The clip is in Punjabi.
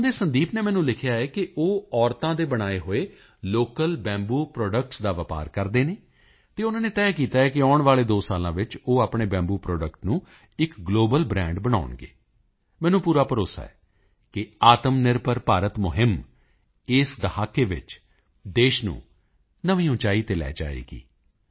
ਅਸਾਮ ਦੇ ਸੁਦੀਪ ਨੇ ਮੈਨੂੰ ਲਿਖਿਆ ਹੈ ਕਿ ਉਹ ਮਹਿਲਾਵਾਂ ਦੇ ਬਣਾਏ ਹੋਏ ਲੋਕਲ ਬੰਬੂ ਪ੍ਰੋਡਕਟਸ ਦਾ ਵਪਾਰ ਕਰਦੇ ਹਨ ਅਤੇ ਉਨ੍ਹਾਂ ਨੇ ਤੈਅ ਕੀਤਾ ਹੈ ਕਿ ਆਉਣ ਵਾਲੇ 2 ਸਾਲਾਂ ਵਿੱਚ ਉਹ ਆਪਣੇ ਬੰਬੂ ਪ੍ਰੋਡਕਟ ਨੂੰ ਇੱਕ ਗਲੋਬਲ ਬ੍ਰਾਂਡ ਬਣਾਉਣਗੇ ਮੈਨੂੰ ਪੂਰਾ ਭਰੋਸਾ ਹੈ ਕਿ ਆਤਮਨਿਰਭਰ ਭਾਰਤ ਅਭਿਆਨ ਇਸ ਦਹਾਕੇ ਵਿੱਚ ਦੇਸ਼ ਨੂੰ ਨਵੀਂ ਉਚਾਈ ਤੇ ਲੈ ਜਾਵੇਗਾ